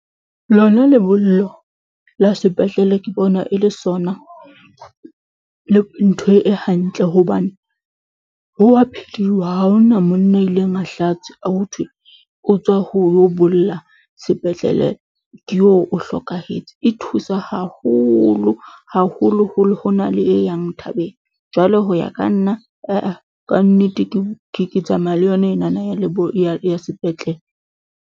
Lona lebollo la sepetlele ke bona e le ntho e hantle hobane ho wa ha hona monna ya ileng a ho thwe, o tswa ho yo bolla sepetlele, ke eo o hlokahetse. E thusa haholo, haholoholo ho na le e yang thabeng. Jwale ho ya ka nna, aa, ka nnete ke tsamaya le yona enana ya sepetlele.